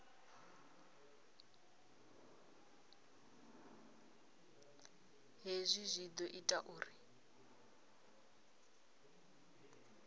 hezwi zwi ḓo ita uri